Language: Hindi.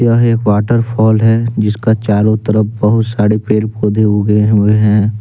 एक वाटरफॉल है जिसका चारों तरफ बहुत सारे पेड़ पौधे हो उगे हुए हैं।